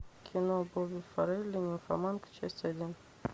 кино бобби фаррелли нимфоманка часть один